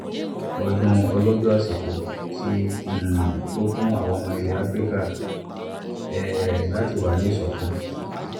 ọdún ọlọ́jọ́ àsìkò ti um tó fún àwa ọmọ ilẹ̀ afrika um láti wà ní ìṣọ̀kan